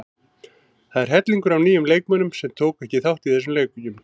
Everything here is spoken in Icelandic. Það er hellingur af nýjum leikmönnum sem tóku ekki þátt í þessum leikjum.